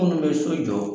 Minnu bɛ so jɔ